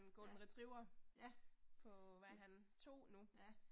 Ja, ja. Ja